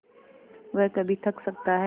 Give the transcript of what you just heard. वह कभी थक सकता है